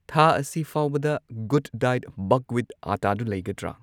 ꯊꯥ ꯑꯁꯤ ꯐꯥꯎꯕꯗ ꯒꯨꯗ ꯗꯥꯏꯠ ꯕꯛꯋꯤꯠ ꯑꯠꯇꯥꯗꯨ ꯂꯩꯒꯗ꯭ꯔ